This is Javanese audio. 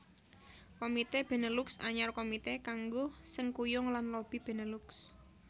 Komité Benelux Anyar Komité kanggo sengkuyung lan lobi Benelux